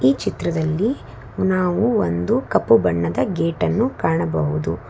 ಈ ಚಿತ್ರದಲ್ಲಿ ನಾವು ಒಂದು ಕಪ್ಪು ಬಣ್ಣದ ಗೇಟ್ ಅನ್ನು ಕಾಣಬಹುದು.